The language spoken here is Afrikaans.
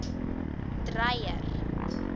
dreyer